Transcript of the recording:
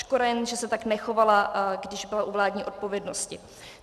Škoda jen, že se tak nechovala, když byla u vládní odpovědnosti.